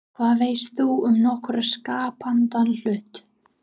Hvað veist þú um nokkurn skapaðan hlut!?